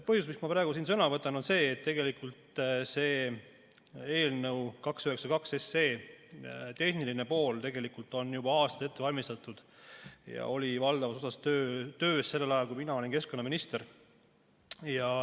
Põhjus, miks ma praegu siin sõna võtan, on see, et eelnõu 292 tehnilist poolt on juba aastaid ette valmistatud ja see oli valdavas osas töös sellel ajal, kui mina olin keskkonnaminister.